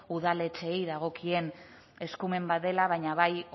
udaletxeei dagokien eskumen bat dela baina bai